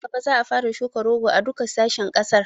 Nan gaba za a fara shukan rogo a duka sashen ƙasar